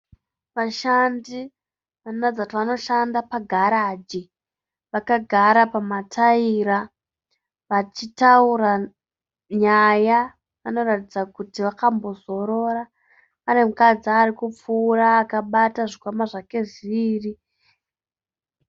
Vashandi vanoratidza kuti vanoshanda pagaraji. Vakagara pamatayira vachitaura nyaya, vanoratidza kuti vakambozorora. Pane mukadzi arikupfuura akabata zvikwama zvake zviviri